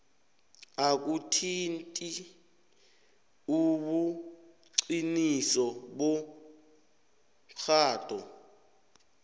akuthinti ubuqiniso bomtjhado